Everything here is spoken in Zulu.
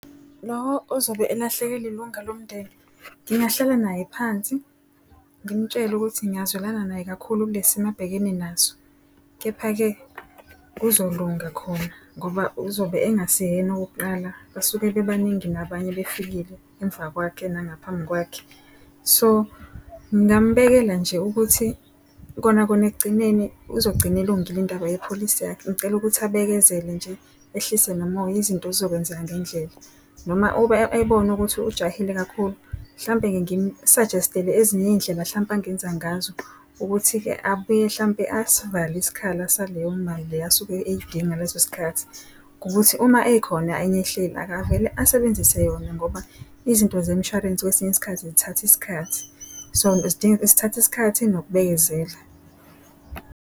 Lowo ozobe elahlekelwe ilunga lomndeni, ngingahlala naye phansi ngimtshele ukuthi ngiyazwelana naye kakhulu kule simo ababhekene naso. Kepha-ke kuzolunga khona ngoba uzobe engaseyena owokuqala, basuke bebaningi nabanye befikile emva kwakhe nangaphambi kwakhe. So ngingambekela nje ukuthi kona kona ekugcineni uzogcina elungile indaba yepholisi yakhe. Ngicela ukuthi abekezele nje ehlise nomoya izinto yizokwenzeka ngendlela. Noma ebona ukuthi ujahile kakhulu mhlampe-ke ngimu-suggest-ele ezinye iy'indlela hlampe angenza ngazo ukuthi-ke abuye hlampe asivale isikhala sa leyo mali le asuke eyidinga ngaleso sikhathi. Ukuthi uma ekhona enye ehleli akavele asebenzise yona ngoba izinto zemshwarense kwesinye isikhathi zithatha isikhathi, so zidinga zithatha isikhathi nokubekezela.